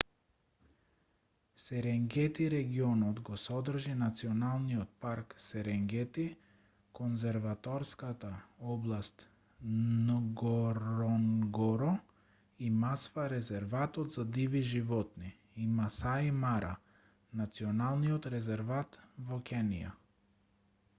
серенгети регионот го содржи националниот парк серенгети конзерваторската област нгоронгоро и масва резерватот за диви животни и масаи мара националниот резерват во кенија